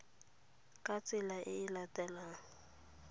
ka tsela e e latelang